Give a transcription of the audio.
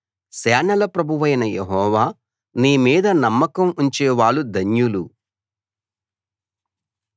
సేనల ప్రభువైన యెహోవా నీ మీద నమ్మకం ఉంచేవాళ్ళు ధన్యులు